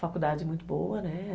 Faculdade muito boa, né?